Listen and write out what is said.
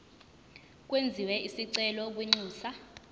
kwenziwe isicelo kwinxusa